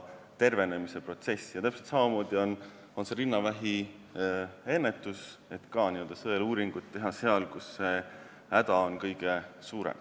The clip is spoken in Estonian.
Täpselt samamoodi on rinnavähi ennetusega – sõeluuringut tehakse seal, kus häda on kõige suurem.